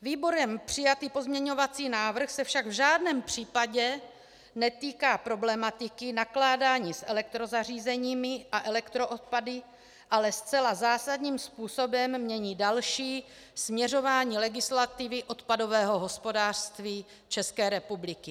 Výborem přijatý pozměňovací návrh se však v žádném případě netýká problematiky nakládání s elektrozařízeními a elektroodpady, ale zcela zásadním způsobem mění další směřování legislativy odpadového hospodářství České republiky.